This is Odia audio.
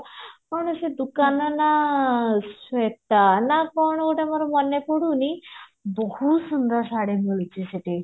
କଣ ସେ ଦୋକାନ ନା ଶ୍ଵେତା ନା କଣ ଗୋଟେ ମୋର ମନେ ପଡୁନି ବହୁତ ସୁନ୍ଦର ଶାଢୀ ମିଳୁଛି ସେଠି